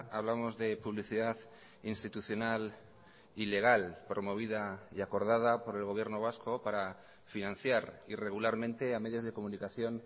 hablamos de publicidad institucional ilegal promovida y acordada por el gobierno vasco para financiar irregularmente a medios de comunicación